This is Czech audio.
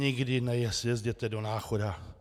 Nikdy nejezděte do Náchoda.